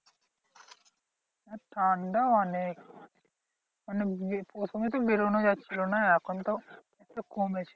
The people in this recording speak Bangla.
ঠান্ডা অনেক। মানে প্রথমে তো বেরোনো যাচ্ছিলো না এখন একটু কমেছে।